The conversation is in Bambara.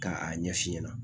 Ka a ɲɛ f'i ɲɛna